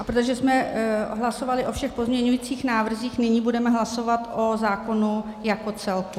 A protože jsme hlasovali o všech pozměňujících návrzích, nyní budeme hlasovat o zákonu jako celku.